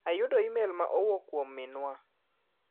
Ayudo imel ma owuok kuiom min wa.